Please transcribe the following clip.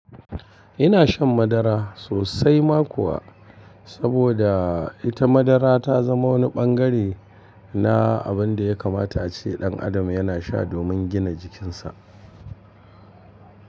Ina shan madara sosai ma kuwa, saboda ita madara ta zama wani ɓangare na abin da ya kamata ce ɗan adam yana sha domin gina jikinsa.